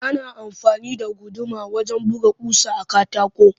Ana amfani da guduma wajen buga ƙusa a katako